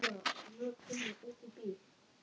Hvert var farið og hvernig heppnaðist ferðin?